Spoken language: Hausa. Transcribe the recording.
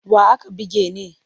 Wa aka buge ne?